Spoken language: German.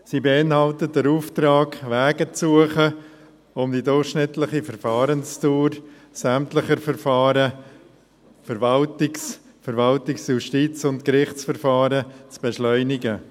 Sie beinhaltet den Auftrag, Wege zu suchen, um die durchschnittliche Verfahrensdauer sämtlicher Verfahren – Verwaltungs-, Justiz- und Gerichtsverfahren – zu beschleunigen.